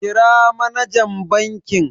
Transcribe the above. Kira manajan bankin.